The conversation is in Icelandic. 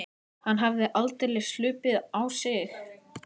Hann hafði aldeilis hlaupið á sig.